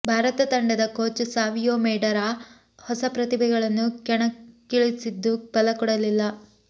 ಭಾರತ ತಂಡದ ಕೋಚ್ ಸಾವಿಯೊ ಮೆಡೇರಾ ಹೊಸ ಪ್ರತಿಭೆಗಳನ್ನು ಕಣಕ್ಕಿಳಿಸಿದ್ದು ಫಲ ಕೊಡಲಿಲ್ಲ